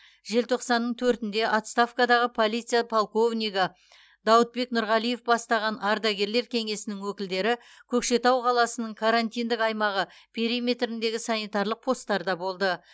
желтоқсанның төртінде отставкадағы полиция полковнигі дауытбек нұрғалиев бастаған ардагерлер кеңесінің өкілдері көкшетау қаласының карантиндік аймағы периметіріндегі санитарлық постарда болды